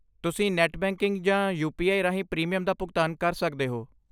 ਤੁਸੀਂ net banking ਜਾਂ U P I ਰਾਹੀਂ ਪ੍ਰੀਮੀਅਮ ਦਾ ਭੁਗਤਾਨ ਕਰ ਸਕਦੇ ਹੋ।